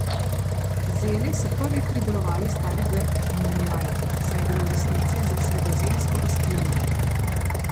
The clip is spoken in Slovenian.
Zelje so prvi pridelovali stari Grki in Rimljani, saj gre v resnici za sredozemsko rastlino.